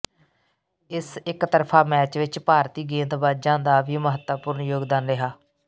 ਇਸ ਇਕਤਰਫ਼ਾ ਮੈਚ ਵਿੱਚ ਭਾਰਤੀ ਗੇਂਦਬਾਜ਼ਾਂ ਦਾ ਵੀ ਮਹੱਤਵਪੂਰਨ ਯੋਗਦਾਨ ਰਿਹਾ